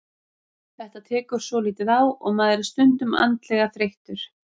Þetta tekur svolítið á og maður er stundum andlega þreyttur.